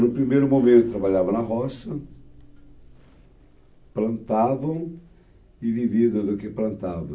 No primeiro momento, trabalhavam na roça, plantavam e viviam do do que plantavam.